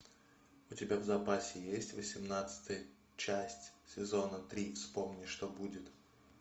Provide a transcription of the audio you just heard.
у тебя в запасе есть восемнадцатая часть сезона три вспомни что будет